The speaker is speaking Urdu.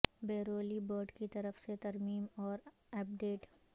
بیورلی برڈ کی طرف سے ترمیم اور اپ ڈیٹ